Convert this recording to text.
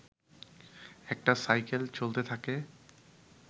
একটা সাইকেল চলতে থাকে